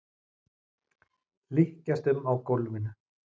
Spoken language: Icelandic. Hlykkjast um á gólfinu.